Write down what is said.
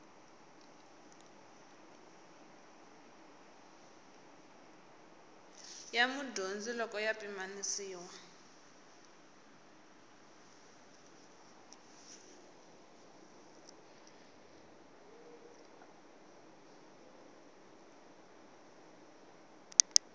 ya mudyondzi loko ya pimanisiwa